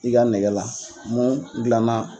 I ka nɛgɛla mun dilanna